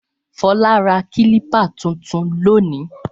Fọlá ra kílípà tuntun lónìí.